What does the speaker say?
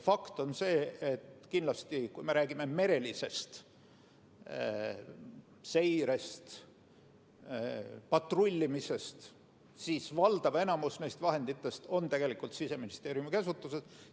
Fakt on see, et kui me räägime merelisest seirest, patrullimisest, siis valdav enamik neist vahenditest on tegelikult Siseministeeriumi käsutuses.